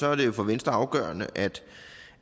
er det jo for venstre afgørende